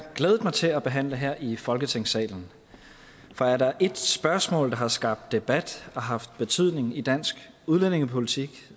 glædet mig til at behandle her i folketingssalen for er der et spørgsmål der har skabt debat og haft betydning i dansk udlændingepolitik